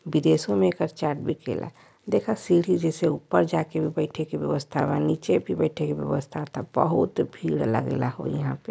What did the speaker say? विदेशों में भी ऐकर चाट बीके ला| देखा सीढ़ी जैसे ऊपर जाके बैठे के व्यवस्था बा| नीचे भी बैठे के व्यवस्था बा| त बहुत भीड़ लगेला हो यहां पे --